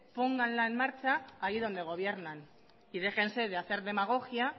pónganla en marcha allí donde gobiernan y déjense de hacer demagogia